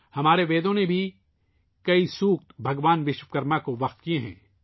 ہمارے ویدوں نے بھی کئی سُکت بھگوان وشو کرما کو وقف کی ہیں